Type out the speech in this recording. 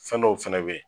Fɛn dɔw fɛnɛ bɛ yen